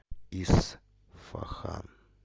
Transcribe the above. исфахан